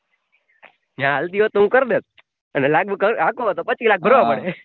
જ્યા હાલતિ હોત તો હુ કર દેત લાગવગ પચી લાખ ભરવા પડે ભરાય ના